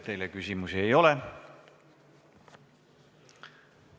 Teile küsimusi ei ole!